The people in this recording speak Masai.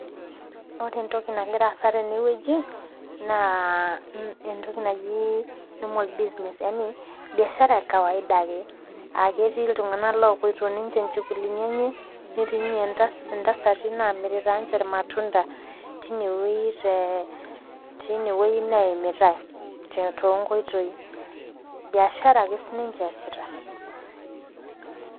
Ore entoki nagira aasa teneweji naa entoki naji normal business .Yani biashara ekawaida ake, aa ketii iltunganak opoito ninche inchugulini enche netii intasati namirita irmatunda tineweji neimitae toonkoitoi ,biashara ake siininche eesita.